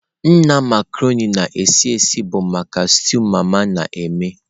Nna Marconi na-esi esi bụ maka stew mama na-eme.